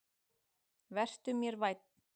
Vertu mér vænn.